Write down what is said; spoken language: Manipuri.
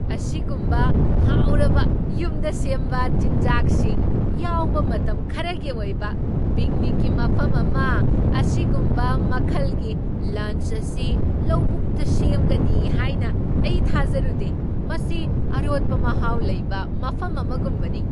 ꯑꯁꯤꯒꯨꯝꯕ ꯍꯥꯎꯔꯕ ꯌꯨꯝꯗ ꯁꯦꯝꯕ ꯆꯤꯟꯖꯥꯛꯁꯤꯡ ꯌꯥꯎꯕ ꯃꯇꯝ ꯈꯔꯒꯤ ꯑꯣꯏꯕ ꯄꯤꯛꯅꯤꯛꯀꯤ ꯃꯐꯝ ꯑꯃ ꯑꯁꯤꯒꯨꯝꯕ ꯃꯈꯜꯒꯤ ꯂꯟꯆ ꯑꯁꯤ ꯂꯧꯕꯨꯛꯇ ꯁꯦꯝꯒꯅꯤ ꯍꯥꯏꯅ ꯑꯩ ꯊꯥꯖꯔꯨꯗꯦ! ꯃꯁꯤ ꯑꯔꯣꯠꯄ ꯃꯍꯥꯎ ꯂꯩꯕ ꯃꯐꯝ ꯑꯃꯒꯨꯝꯕꯅꯤ!